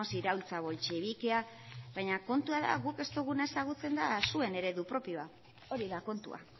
iraultza boltxebikea baina kontua da guk ez duguna ezagutzen da zuen eredu propioa hori da kontua